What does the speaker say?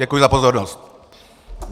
Děkuji za pozornost.